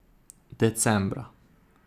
Decembra.